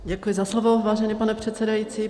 Děkuji za slovo, vážený pane předsedající.